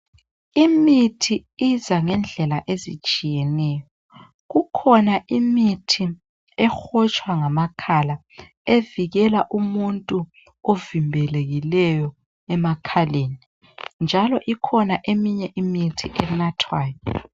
Imithi iza ngendlela ezitshiyeneyo. Kukhona imithi ehotshwa ngamakhala evikela umuntu ovimbelekileyo emakhaleni njalo ikhona eminye imithi enathwayo.